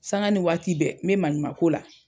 Saŋa ni waati bɛɛ n be maɲumako la.